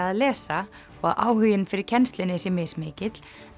að lesa og áhuginn fyrir kennslunni sé mismikill